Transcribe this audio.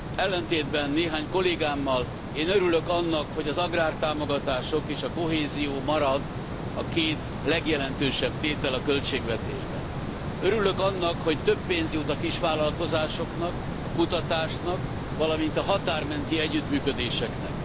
Ellentétben néhány kollégámmal, én örülök annak, hogy az agrártámogatások és a kohézió marad a két legjelentősebb tétel a költségvetésben. Örülök annak, hogy több pénz jut a kisvállalkozásoknak, a kutatásnak, valamint a határ menti együttműködéseknek.